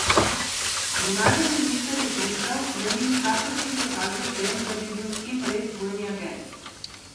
Zunanji minister je pričal, da ni nikakršnih dokazov o tem, da bi bil Kim res dvojni agent.